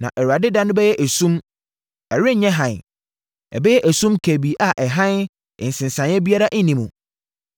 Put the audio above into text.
Na Awurade da no bɛyɛ esum; ɛrenyɛ hann, ɛbɛyɛ esum kabii a ɛhan nsensaneɛ biara nni mu.